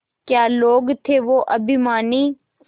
क्या लोग थे वो अभिमानी